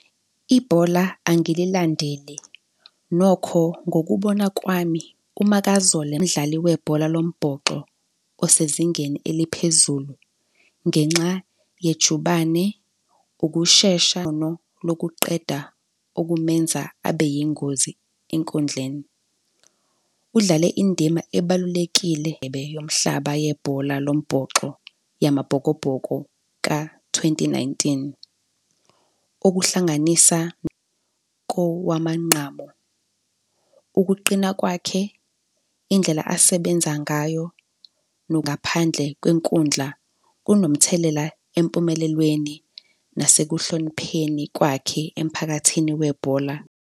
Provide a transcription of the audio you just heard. Ibhola angililandeli, nokho ngokubona kwami uMakazole umdlali webhola lombhoxo osezingeni eliphezulu ngenxa yejubane, ukushesha lokuqeda okumenza abe yingozi enkundleni. Udlale indima ebalulekile yomhlaba yebhola lombhoxo yamaBhokobhoko ka-twenty nineteen. Ukuhlanganisa kowamanqamu, ukuqina kwakhe, indlela asebenza ngayo ngaphandle kwenkundla kunomthelela empumelelweni, nasekuhlonipheni kwakhe emphakathini webhola.